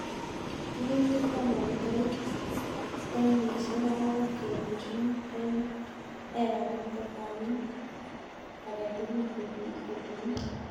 "Rurutik koanan koit tanisiek angw'an kenuch mut en ekarit ko tanit agetugul kotinye